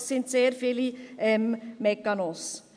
Es sind sehr viele Mechanismen.